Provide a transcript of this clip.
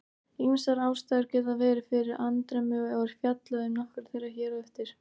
Ýmsar ástæður geta verið fyrir andremmu og er fjallað um nokkrar þeirra hér á eftir.